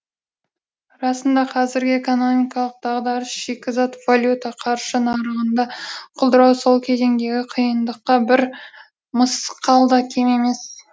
расында қазіргі экономикалық дағдарыс шикізат валюта қаржы нарығында құлдырау сол кезеңдегі қиындықтан бір мысқал да кем емес